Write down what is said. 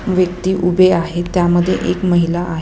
व्यक्ति उभे आहे त्यामध्ये एक महिला आहे.